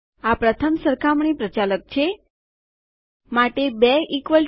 આ પ્રથમ સરખામણી પ્રચાલક કમ્પેરીઝન ઓપરેટર છે